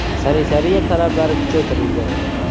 Sanitariya talablari kuchaytirildi.